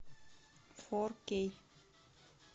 фор кей